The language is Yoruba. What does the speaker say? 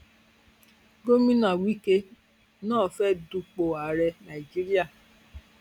gomina wike náà fẹẹ dupò ààrẹ nàíjíríà